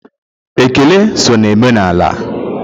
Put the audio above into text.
Ekele so na omenaala.